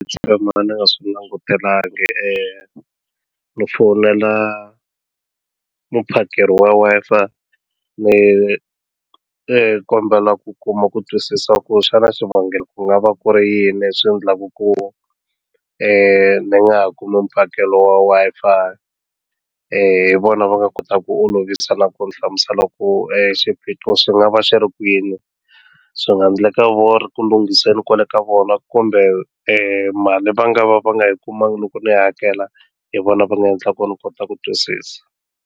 Ndzi tshama ndzi nga swi langutelangi ni fonela muphakeri wa Wi-Fi ni ni kombela ku kuma ku twisisa ku xana xivangelo ku nga va ku ri yini leswi endlaka ku ni nga ha kumi mphakelo wa Wi-Fi hi vona va nga kota ku olovisa na ku ni hlamuselo ku xiphiqo xi nga va xi ri kwini swi nga endleka va ri ku lunghiseni kwale ka vona kumbe mali va nga va va nga yi kumanga loko ni hakela hi vona va nga endlaku ku ni kota ku twisisa.